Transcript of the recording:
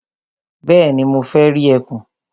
Bẹ́ẹ̀ni, mo fẹ́ rí ẹkùn.